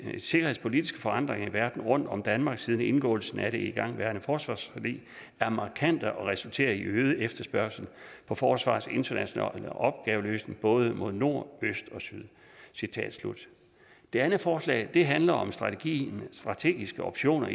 sikkerhedspolitiske forandringer i verden rundt om danmark siden indgåelsen af det igangværende forsvarsforlig er markante og resulterer i øget efterspørgsel på forsvarets internationale opgaveløsning både mod nord øst og syd citat slut det andet forslag handler om strategien og strategiske optioner